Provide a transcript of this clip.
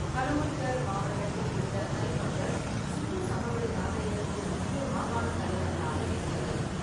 ஹனுமான்கர் மாவட்டத்தில் உள்ள கலிபங்கன், சிந்து சமவெளி நாகரிகத்தின் முக்கிய மாகாண தலைநகராக இருந்தது.